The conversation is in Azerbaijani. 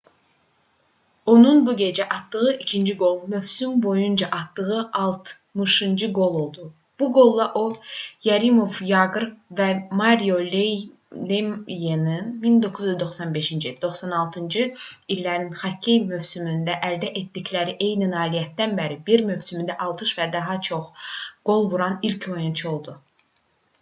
onun bu gecə atdığı ikinci qol mövsüm boyunca atdığı altmışıncı qol oldu. bu qolla o yaromir yaqr və mario lemyenin 1995-96-cı illərin xokkey mövsümündə əldə etdikləri eyni nailiyyətdən bəri bir mövsümdə 60 və daha çox qol vuran ilk oyunçu oldu